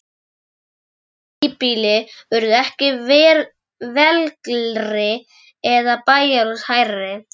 Íslensk híbýli urðu ekki veglegri eða bæjarhús hærri.